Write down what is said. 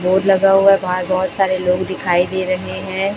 Board लगा हुआ है बाहर बहोत सारे लोग दिखाई दे रहे हैं।